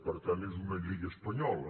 per tant és una llei espanyola